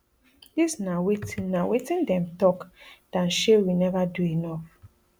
dis na wetin na wetin dem tok dan shey we neva do enough